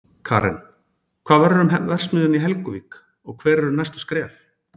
Karen, hvað verður um verksmiðjuna í Helguvík og hver eru næstu skref?